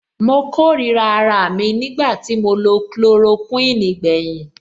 Mo kórìíra araà mi nígbà tí mo lo chloroquine gbẹ̀yìn.